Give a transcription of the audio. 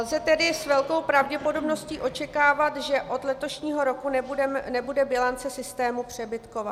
Lze tedy s velkou pravděpodobností očekávat, že od letošního roku nebude bilance systému přebytková.